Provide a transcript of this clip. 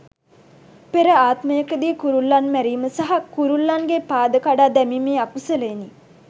පෙර ආත්මයකදී කුරුල්ලන් මැරීම සහ කුරුල්ලන්ගේ පාද කඩා දැමීමේ අකුසලයෙනි.